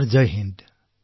sir Jai Hind